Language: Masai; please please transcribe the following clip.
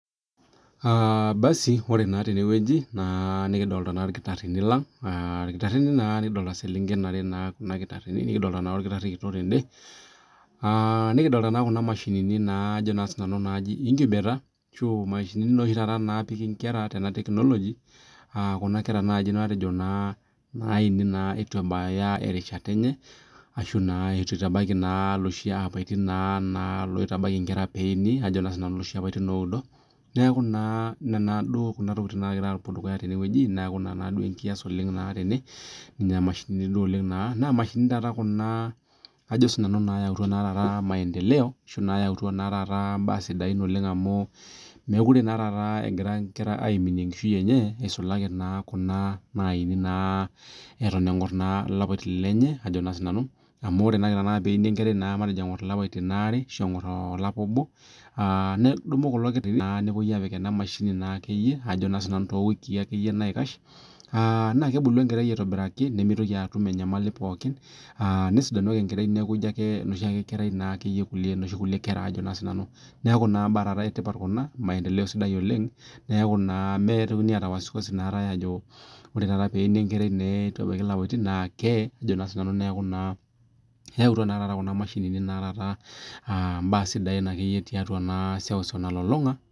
Aaa cs[basi]cs ore naa tenewueji nikidolita ilkitarrini lang' aa ilkitarrini aa iseleng'en are naa kuna kitarrini nikidolita naa olkitarri kitok tende, aa nikidolita naa kuna mashinini naa ajo naa sinanu naaji inkibeta ashu mashinini naa naapiki inkera tena teknoloji, aaa kuna kera matejo naini naa eitu ebaya erishata enye ashu eitu naa itabaiki iloshi apaitini naa naa oitabaya inkera peeini ajo naa sinanu iloshi apaitin oudo, neeku naa nena duo kuna tokitin nagira aapuo dukuya naa tene weji neeku naa ina duo ekias tene, nena mashinini duo oleng' naa naa mashinini naa kuna ajo naa sinanu naayautua maendeleo ashu naayautua naa taata imbaa sidan oleng' amuu meikure naa egira ingera iaminie enkishui enye, eisulaki naa kuna naini naa eton eng'or ilapaitin lenye ajo naa sinanu, amuu ore peini enkerai eton eng'or ilapaitin aare ashu eng'or olapa obo, aa nedumu kulo kitarrini nepuo naa aapik ena mashini ajo naa sinanu too wikii akeye naikash, aa naa kebulu enkerai aitobiraki nemeitoki atum enyamali pookin aaa, nesidanu ake enkerai neeku ijo ake inoshiake kerai naakeyie kulie inoshi kera ajo naa sinanu neeku imbaa etipat naa maendeleo sidai oleng', neeku naa, meitokini aata wasiwasi naatae ajo ore teneini enkerai neitu ebaya ilapaitin naa kee ajo naa sinanu neeku naa, eyautua naa taata kuna mashinini naa taata naa imbaa naa sidan titua iseuseu nalulung'a.